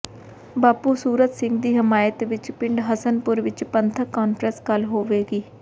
ਬਾਪੂ ਸੂਰਤ ਸਿੰਘ ਦੀ ਹਮਾਇਤ ਵਿੱਚ ਪਿੰਡ ਹਸਨਪੁਰ ਵਿੱਚ ਪੰਥਕ ਕਾਨਫਰੰਸ ਕੱਲ ਹੋਵੇਗੀ